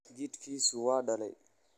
Jidhkiisu waa daalay.